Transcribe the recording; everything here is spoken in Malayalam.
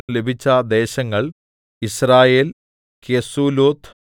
ലഭിച്ച ദേശങ്ങൾ യിസ്രയേൽ കെസുല്ലോത്ത്